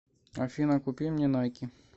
афина купи мне найки